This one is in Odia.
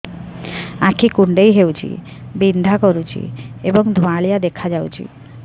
ଆଖି କୁଂଡେଇ ହେଉଛି ବିଂଧା କରୁଛି ଏବଂ ଧୁଁଆଳିଆ ଦେଖାଯାଉଛି